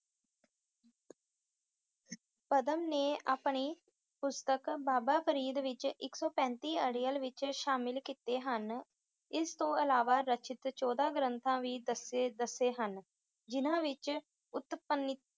ਪਦਮ ਨੇ ਆਪਣੀ ਪੁਸਤਕ ਬਾਬਾ ਫਰੀਦ ਵਿੱਚ ਇੱਕ ਸੌ ਪੈਂਤੀ ਅੜਿੱਲ ਵਿੱਚ ਸ਼ਾਮਿਲ ਕੀਤੇ ਹਨ, ਇਸ ਤੋਂ ਇਲਾਵਾ ਰਚਿਤ ਚੋਦਾਂ ਗ੍ਰੰਥ ਵੀ ਦੱਸੇ ਦੱਸੇ ਹਨ ਜਿਹਨਾਂ ਵਿੱਚ ਉਤਪ~